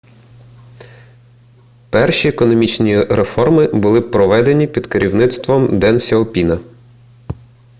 перші економічні реформи були проведені під керівництвом ден сяопіна